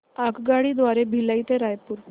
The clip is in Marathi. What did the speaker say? आगगाडी द्वारे भिलाई ते रायपुर